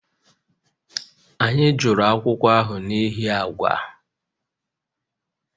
Anyị jụrụ akwụkwọ ahụ n'ihi agba